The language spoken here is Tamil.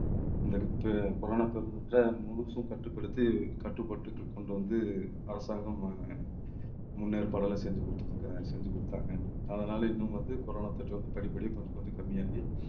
இந்த corona பருவத்தை முழுசும் கட்டுப்படுத்தி கட்டுப்பாட்டுக்கு கொண்டு வந்து அரசாங்கம் முன்னேற்பாடுகள் எல்லாம் செஞ்சு கொடுத்து செஞ்சு கொடுத்தாங்க. அதனால இன்னும் வந்து corona தொற்று வந்து படிப்படியா கொஞ்சம் கொஞ்சம் கம்மியாகி